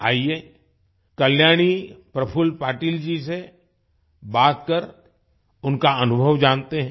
आइए कल्याणी प्रफुल्ल पाटिल जी से बात कर उनका अनुभव जानते हैं